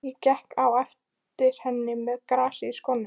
Ég gekk á eftir henni með grasið í skónum!